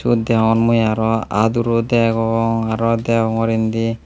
sut degongor mui aro aduro degong aro degong or indi.